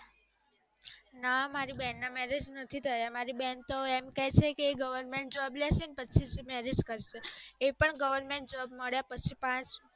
ના મારી ના marriage નથી થયા મારી બેન તો એમ કે છે કે goverment job લેશે ને પછી જ marriage કરશે એ પણ goverment job મળ્યા પછી પાંચ